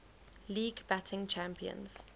league batting champions